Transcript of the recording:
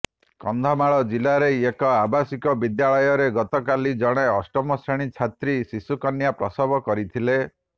କନ୍ଧମାଳ ଜିଲ୍ଲାରେ ଏକ ଆବାସିକ ବିଦ୍ୟାଳୟରେ ଗତକାଲି ଜଣେ ଅଷ୍ଟମ ଶ୍ରେଣୀ ଛାତ୍ରୀ ଶିଶୁକନ୍ୟା ପ୍ରସବ କରିଥିଲେ